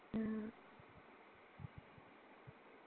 ആ